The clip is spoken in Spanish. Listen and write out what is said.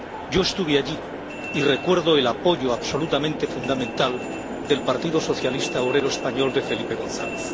Yo estuve allí y recuerdo el apoyo absolutamente fundamental del Partido Socialista Obrero Español de Felipe González.